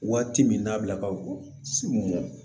Waati min na bila ka bɔ segu